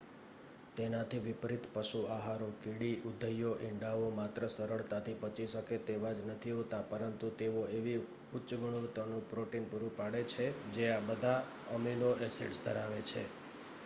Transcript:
તેનાથી વિપરીત પશુ આહારો કીડી ઉધઈઓ ઇંડાઓ માત્ર સરળતાથી પચી શકે તેવા જ નથી હોતા પરંતુ તેઓ એવી ઉચ્ચ ગુણવતાનું પ્રોટીન પ્રુરુ પાડે છે કે જે આ બધા અમીનો એસીડસ ધરાવે છે